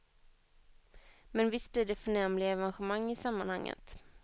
Men visst blir det förnämliga evenemang i sammanhanget.